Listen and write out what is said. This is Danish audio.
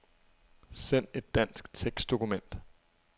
Send et dansk tekstdokument.